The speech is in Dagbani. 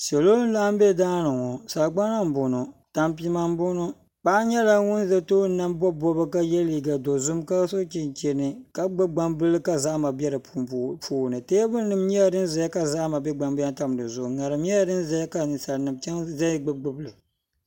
Salo n laɣim bɛ daani ŋɔ tanpima n boŋɔ paɣa nyɛla za tooni ka yɛ liiga dozim ka ka bobi bobiga ka so chinchini ks gbubi gbanbila ka zahama bɛ di puuni taabulinim zayaŋɔ ka gban bihi tamtam di zuɣu ka zahama bɛnbɛ di puuni ŋarim nyɛla dinzaya ka nyin salnim zaya gbubi gbubi li